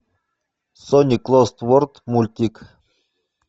соник лост ворд мультик